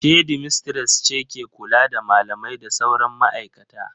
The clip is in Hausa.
Shedimistres ce ke kula da malamai da sauran ma'aikata.